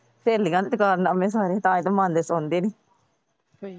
ਸਹੇਲੀਆਂ ਦੇ ਕਾਰਨਾਮੇ ਸਾਰੇ ਸੁਣਦੇ ਨੇ।